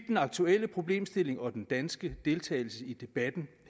den aktuelle problemstilling og den danske deltagelse i debatten